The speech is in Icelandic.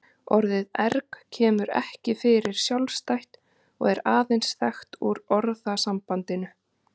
Orðið erg kemur ekki fyrir sjálfstætt og er aðeins þekkt úr orðasambandinu.